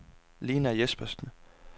Lena Jespersen